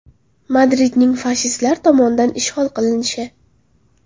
Madridning fashistlar tomonidan ishg‘ol qilinishi.